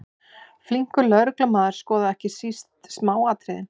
Flinkur lögreglumaður skoðar ekki síst smáatriðin.